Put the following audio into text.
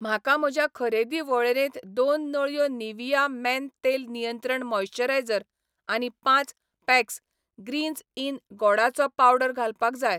म्हाका म्हज्या खरेदी वळेरेंत दोन नळयो निव्हिया मेन तेल नियंत्रण मॉइस्चरायझर आनी पांच पॅक्स ग्रीन्झ इन गोडाचो पावडर घालपाक जाय.